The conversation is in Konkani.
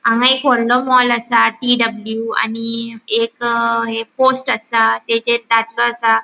हांगा एक वडलों मोल आसा टी.डब्लू. आणि एक अ ये पोस्ट आसा तेचेर आसा.